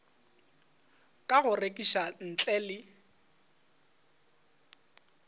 ka go rekiša ntle le